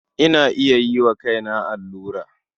Ina iya yi wa kaina allura.